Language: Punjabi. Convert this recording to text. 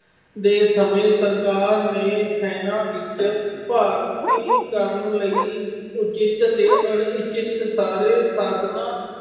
ਦੇ ਸਮੇਂ ਸਰਕਾਰ ਨੇ ਸੈਨਾ ਵਿੱਚ ਭਰਤੀ ਕਰਨ ਲਈ ਉਚਿਤ ਅਤੇ ਅਣਉਚਿਤ ਸਾਰੇ ਸਾਧਨਾਂ